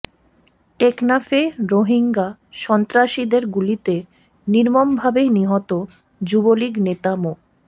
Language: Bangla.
টেকনাফে রোহিঙ্গা সন্ত্রাসীদের গুলিতে নির্মমভাবে নিহত যুবলীগ নেতা মো